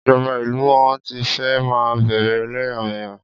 Ìjọba ìlú wọn ti fẹ́ máa bẹ̀rè ẹlẹ́yàmẹ̀yà.